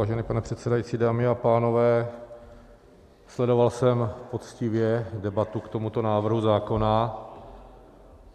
Vážený pane předsedající, dámy a pánové, sledoval jsem poctivě debatu k tomuto návrhu zákona